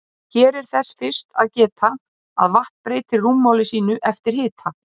Hér er þess fyrst að geta að vatn breytir rúmmáli sínu eftir hita.